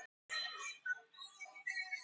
Petter, hækkaðu í græjunum.